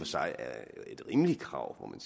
sig er et rimeligt krav må man